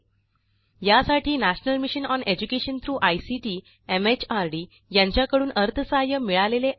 यासाठी national mission on education through ICT MHRD यांच्याकडून अर्थसहाय्य मिळालेले आहे